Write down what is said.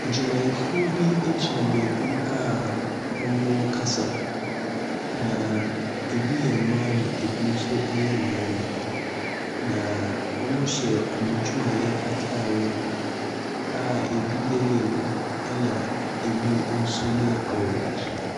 Adwumayɛfoɔ bi gyina baabi a wɔrekasa, na ɛbi yɛ mma na ɛbi nso yɛ mmarima, na wchyɛ wcn adwumayɛ atadeɛ a ɛbi yɛ yellow, ɛna ebi nso yɛ orange.